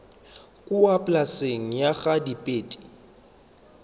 kua polaseng ya ga dibete